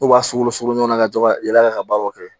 U b'a sulu suku ɲɔgɔn na ka to ka yala yala ka baaraw kɛ